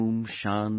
शान्तिशान्ति||